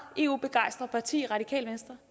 eu begejstret parti i radikale venstre